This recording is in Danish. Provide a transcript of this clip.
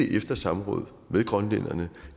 efter samråd med grønlænderne